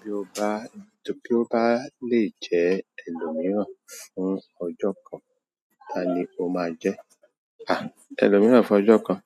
Bí o bá, bí o bá lè jẹ́ ẹlòmíràn fún ọjọ́ kan, ta ni o máa jẹ́? À, ẹlòmíràn fún ọjọ́ kan.